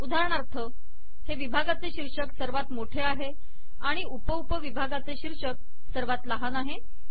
उदाहरणार्थ हे विभागाचे शीर्षक सर्वात मोठे आहे आणि हे उप उप विभागाचे शीर्षक सर्वात लहान आहे